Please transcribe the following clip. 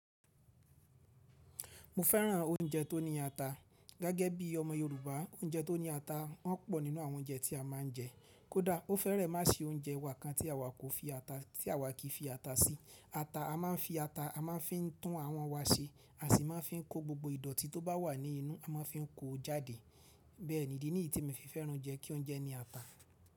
Mo féràn oúnjẹ tó ní ata. Gẹ́gẹ́ bí ọmọ Yorùbá oúnjẹ tó ní ata wọ́n pọ̀ nínú àwọn oúnjẹ tí a máa ń jẹ. Kódà ó fẹ́rẹ̀ má ṣe oúnjẹ wákan tí àwa kì í fi ata sí. Ata a máa ń fi ata a máa ń fi tún awón wa ṣe. A sì máa ń fi kó gbogbo ìdọ̀ọ̀tí tó bá wà ní inú. A máa ń fi kó jáde. Bẹ́ẹ̀ ni. Ìdí yìí ni èmi fi fẹ́ràn ounjẹ kí oúnjẹ ní ata.